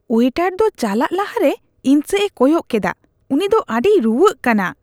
Waiter ᱫᱚ ᱪᱟᱞᱟᱜ ᱞᱟᱦᱟᱨᱮ ᱤᱧ ᱥᱮᱡᱼᱮ ᱠᱚᱭᱚᱜ ᱠᱮᱰᱟ ᱾ ᱩᱱᱤ ᱫᱚ ᱟᱹᱰᱤᱭ ᱨᱩᱣᱟᱹᱜ ᱠᱟᱱᱟ ᱾